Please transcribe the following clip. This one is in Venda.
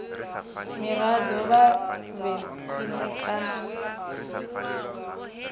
muraḓo a vhe khwine kana